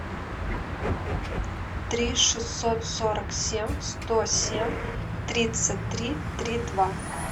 три шестьсот сорок семь сто семь тридцать три три два